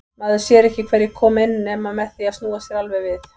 Maður sér ekki hverjir koma inn nema með því að snúa sér alveg við.